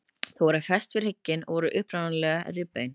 Þau eru fest við hrygginn og voru upprunalega rifbein.